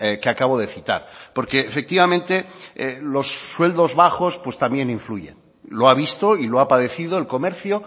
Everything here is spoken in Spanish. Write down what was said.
que acabo de citar porque efectivamente los sueldos bajos pues también influyen lo ha visto y lo ha padecido el comercio